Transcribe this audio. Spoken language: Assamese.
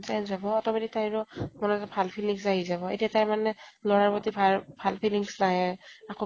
তাইৰ job অ automatic তাইৰো মনত এটা ভাল feelings আহি যাব। এতিয়া তাই মানে লʼৰাৰ প্ৰতি ভাল ভাল feelings নাহে। কাকো